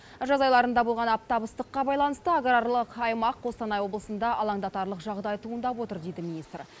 жаз айларында болған аптап ыстыққа байланысты аграрлық аймақ қостанай облысында алаңдатарлық жағдай туындап отыр дейді министр